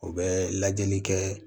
U bɛ lajɛli kɛ